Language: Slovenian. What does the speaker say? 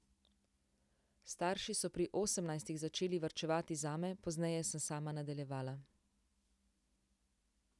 Starši so pri osemnajstih začeli varčevati zame, pozneje sem sama nadaljevala.